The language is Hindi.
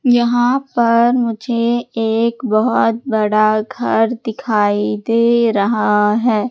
यहां पर मुझे एक बहोत बड़ा घर दिखाई दे रहा है।